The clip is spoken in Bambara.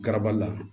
Garabali la